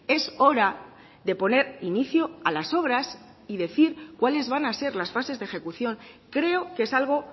es hora de poner inicio a las obras y decir cuáles van a ser las fases de ejecución creo que es algo